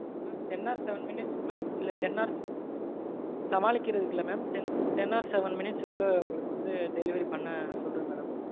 mam ten or seven minutes க்குள்ள இல்ல ten or சமாளிக்கறதுக்கில்ல mam ten or seven minutes குள்ள உங்களுக்கு வந்து delivery பண்ண சொல்றேன் madam.